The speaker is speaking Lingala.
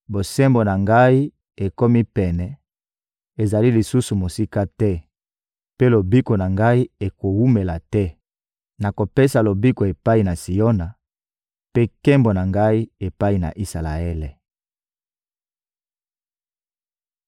Bosembo na Ngai ekomi pene, ezali lisusu mosika te; mpe lobiko na Ngai ekowumela te. Nakopesa lobiko epai na Siona, mpe nkembo na Ngai, epai na Isalaele.